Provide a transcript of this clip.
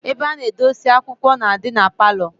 Ebe ana edosi akwukwo na-adi na parlour